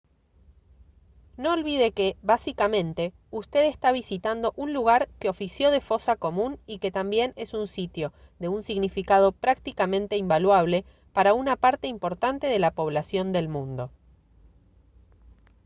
no olvide que básicamente usted está visitando un lugar que ofició de fosa común y que también es un sitio de un significado prácticamente invaluable para una parte importante de la población del mundo